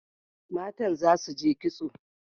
Matan za su je kitso.